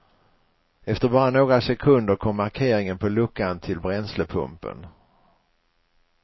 Efter bara några sekunder kom markeringen på luckan till bränslepumpen.